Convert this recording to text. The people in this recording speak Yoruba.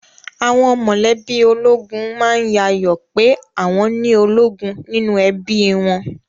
Àwọn mọ̀lẹ́bí ológun má ń yayọ̀ ọ pé àwọn ni ológun nínú ẹbí i wọn